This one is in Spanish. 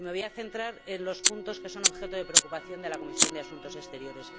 Me voy a centrar en los puntos que son objeto de preocupación de la Comisión de Asuntos Exteriores.